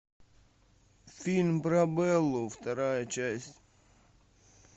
фильм про беллу вторая часть